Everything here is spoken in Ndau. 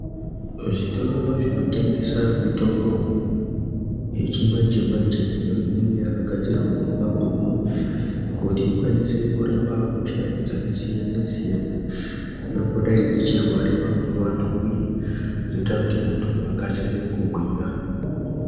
Zvitoro zvinotengeswa mitombo yechimanje manje inenge yakagadzirwa nemabhunu kuti ikwanise kurapa hosha dzakasiyana-siyana dzongodai dzichirwariwa nevantu uye kuti antu akasire kugwinya.